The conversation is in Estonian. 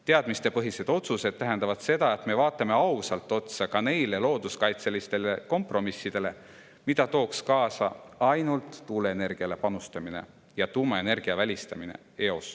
Teadmispõhised otsused tähendavad seda, et me vaatame ausalt otsa ka neile looduskaitselistele kompromissidele, mida tooks kaasa ainult tuuleenergiale panustamine ja tuumaenergia eos välistamine.